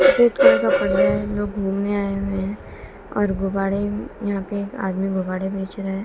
घूमने आए हुए है और गुब्बारे यहां पे एक आदमी गुब्बारे बेच रहा है।